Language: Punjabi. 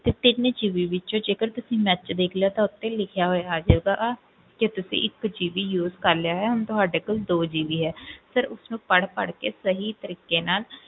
ਤੇ ਤਿੰਨ GB ਵਿੱਚ ਜੇਕਰ ਤੁਸੀਂ match ਦੇਖ ਲਿਆ ਤਾਂ ਉਹ ਤੇ ਲਿਖਿਆ ਹੋਇਆ ਆ ਜਾਊਗਾ ਕਿ ਤੁਸੀਂ ਇੱਕ GB use ਕਰ ਲਿਆ ਹੈ ਹੁਣ ਤੁਹਾਡੇ ਕੋਲ ਦੋ GB ਹੈ sir ਉਸ ਨੂੰ ਪੜ੍ਹ ਪੜ੍ਹ ਕੇ ਸਹੀ ਤਰੀਕੇ ਨਾਲ,